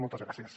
moltes gràcies